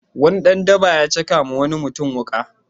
Wani dan daba ya caka wa wani mutum wuƙa.